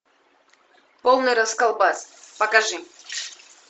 полный расколбас покажи